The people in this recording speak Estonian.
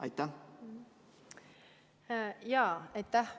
Aitäh!